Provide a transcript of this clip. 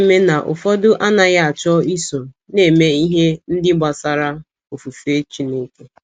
Olee ihe na - eme na ụfọdụ anaghị achọ iso na - eme ihe ndị gbasara ofufe Chineke?